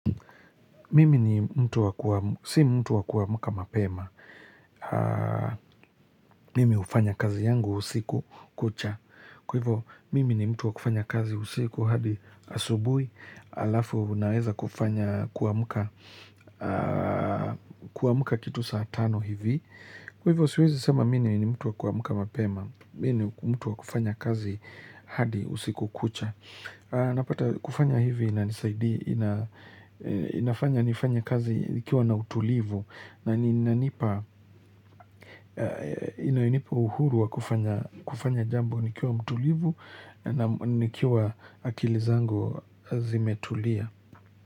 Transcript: Mimi ni mtu wa kuam si mtu wa kuamuka mapema, mimi hufanya kazi yangu usiku kucha, kwaivo mimi ni mtu wa kufanya kazi usiku hadi asubui, alafu naweza kufanya kuamka kuamka kitu saatano hivi, kwaivo siwezi sema mi ni mtu wa kuamka mapema, mi ni mtu wa kufanya kazi hadi usiku kucha. Napata kufanya hivi inanisaidi ina inafanya nifanye kazi nikiwa na utulivu na inanipa inanipa uhuru wa kufanya kufanya jambo nikiwa mtulivu na nam nikiwa akili zango zimetulia.